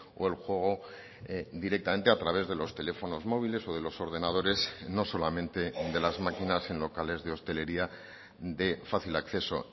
o el juego directamente a través de los teléfonos móviles o de los ordenadores no solamente de las maquinas en locales de hostelería de fácil acceso